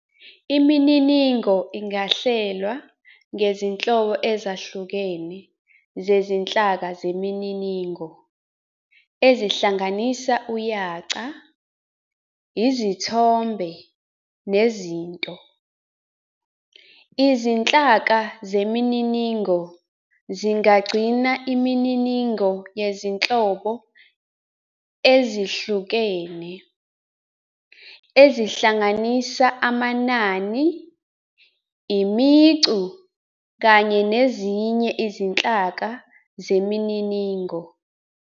Imininingo ingahlelwa ngezinhlobo ezihlukene zezinhlaka zemininingo, ezihlanganisa uyaca, izithombe, nezinto. Izinhlaka zemininingo zingagcina imininingo yezinhlobo ezihlukene, ezihlanganisa amanani, imicu, kanye nezinye izinhlaka zemininingo.